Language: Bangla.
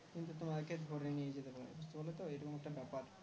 কিন্তু তোমাকে ধরে নিয়ে যেতে পারে কি বোলো তো এরকম একটা ব্যাপার